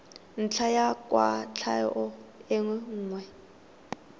ntlha ya kwatlhao e nngwe